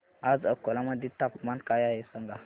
आज अकोला मध्ये तापमान काय आहे सांगा